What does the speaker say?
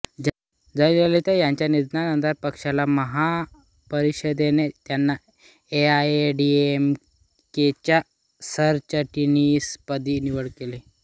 जयललिता यांच्या निधनानंतर पक्षाच्या महापरिषदेने त्यांची एआयएडीएमकेच्या सरचिटणीसपदी निवड केली